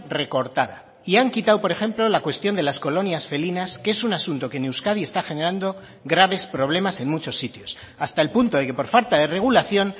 recortada y han quitado por ejemplo la cuestión de las colonias felinas que es un asunto que en euskadi está generando graves problemas en muchos sitios hasta el punto de que por falta de regulación